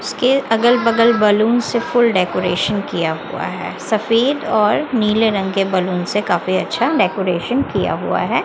उसके अगल बगल बलून से फुल डेकोरेशन किया हुवा हैं सफेद और नीले रंग के बलून से काफी अच्छा डेकोरेशन किया हुवा हैं।